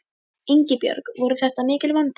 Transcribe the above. Ingibjörg voru þetta mikil vonbrigði?